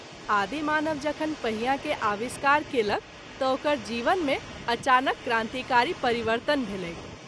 आदि मानव जखन पहिया के आविष्कार केलक त’ ओकर जीवन मे अचानक क्रांतिकारी परिवर्तन भेलैक।